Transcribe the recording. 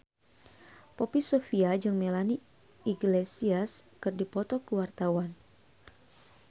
Poppy Sovia jeung Melanie Iglesias keur dipoto ku wartawan